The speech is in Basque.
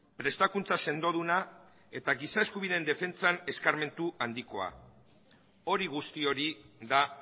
prestakuntza sendoduna eta giza eskubideen defentsan eskarmentu handikoa hori guzti hori da